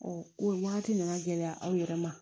o wagati nana gɛlɛya aw yɛrɛ ma